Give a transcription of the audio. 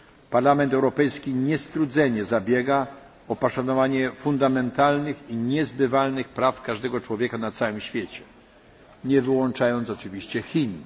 Parlament Europejski niestrudzenie zabiega o poszanowanie podstawowych i niezbywalnych praw każdego człowieka na całym świecie, nie wyłączając oczywiście Chin.